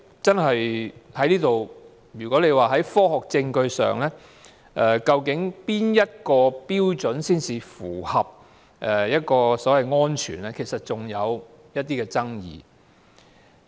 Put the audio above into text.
至於從科學證據確定哪個標準才符合安全，其實仍然有一些爭議。